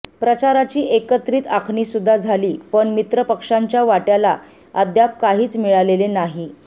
प्रचाराची एकत्रित आखणीसुद्धा झाली पण मित्रपक्षांच्या वाट्याला अद्याप काहीच मिळालेले नाही